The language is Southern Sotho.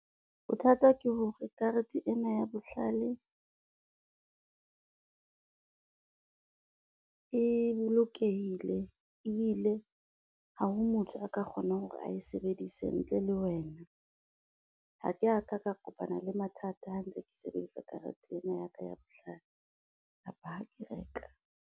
Bothata ke hore karete ena ya bohlale e bolokehile ebile ha ho motho a ka kgonang hore ae sebedise ntle le wena, ha ke a ka ka kopana le mathata ha ntse ke sebedisa karete ena ya ka ya bohlale kapa ha ke reka.